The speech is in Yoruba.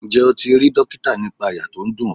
Ǹjẹ́ o ti rí dókítà nípa àyà tó ń dùn ọ?